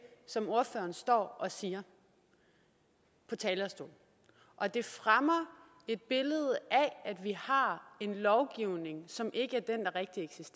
som ordføreren står og siger på talerstolen og det fremmer et billede af at vi har en lovgivning som ikke